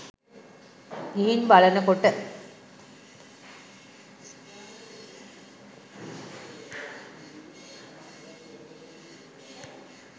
ගිහින් බලනකොට